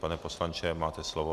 Pane poslanče, máte slovo.